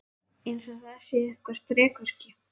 Eins og það sé eitthvert þrekvirki.